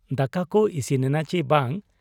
ᱫᱟᱠᱟᱠᱚ ᱤᱥᱤᱱᱮᱱᱟ ᱪᱤ ᱵᱟᱝ ?